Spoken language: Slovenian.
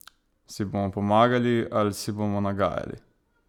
Si bomo pomagali ali si bomo nagajali?